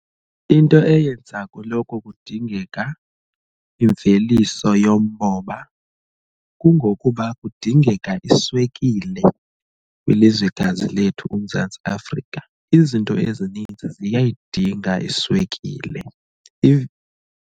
Into eyenza kuloko kudingeka imveliso yomoba kungokuba kudingeka iswekile kwilizwekazi lethu uMzantsi Afrika. Izinto ezininzi ziyayidinga iswekile.